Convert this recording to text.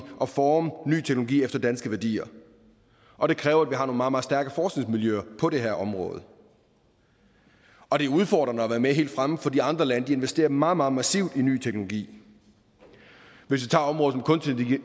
at forme ny teknologi efter danske værdier og det kræver at vi har nogle meget meget stærke forskningsmiljøer på det her område og det er udfordrende at være med helt fremme for de andre lande investerer meget meget massivt i ny teknologi hvis